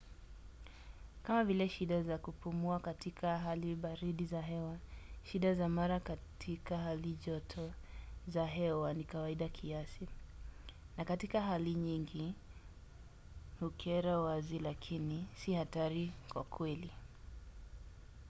kama vile shida za kupumua katika hali baridi za hewa shida za mara katika hali joto za hewa ni kawaida kiasi na katika hali nyingi hukera wazi lakini si hatari kwa kweli